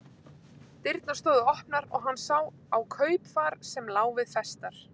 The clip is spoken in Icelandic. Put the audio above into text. Dyrnar stóðu opnar og hann sá á kaupfar sem lá við festar.